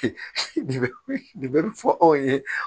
Fɔ aw ye